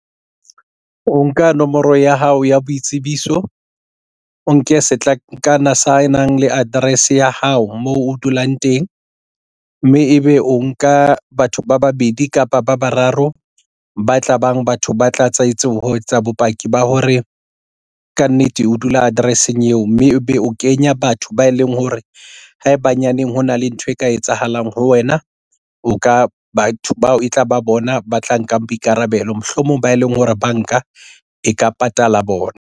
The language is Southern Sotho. O nka nomoro ya hao ya boitsebiso. O nke setlankana senang le address ya hao moo o dulang teng mme ebe o nka batho ba babedi kapa ba bararo ba tla bang batho ba tla etsahetse ho etsa bopaki ba hore kannete o dula address-eng eo mme ebe o kenya batho ba e leng hore ha eba nyaneng hona le ntho e ka etsahalang ho wena. O ka batho bao e tlaba bona ba tla nkang boikarabelo mohlomong ba e leng hore banka e ka patala bona.